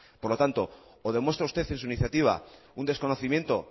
por lo tanto o demuestra usted en su iniciativa un desconocimiento